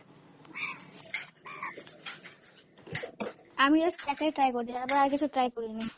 আমিও একটাই try করেছিলাম, তারপরে আরকিছু try করিনি।